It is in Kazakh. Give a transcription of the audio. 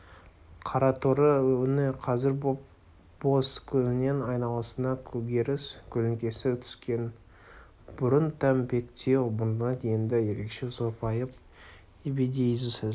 қараторы өңі қазір боп-боз көзінің айналасына көгеріс көлеңкесі түскен бұрын тәмпектеу мұрны енді ерекше сопайып ебедейсіз